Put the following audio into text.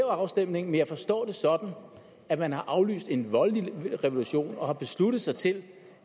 afstemning men jeg forstår det sådan at man har aflyst en voldelig revolution og har besluttet sig til